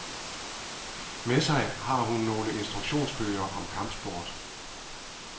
Med sig har hun nogle instruktionsbøger om kampsport.